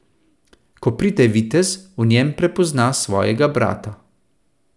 Ko pride vitez, v njem prepozna svojega brata.